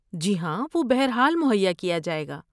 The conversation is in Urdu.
جی ہاں، وہ بہر حال مہیا کیا جائے گا۔